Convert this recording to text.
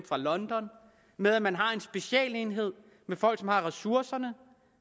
fra london med at man har en specialenhed med folk som har ressourcerne og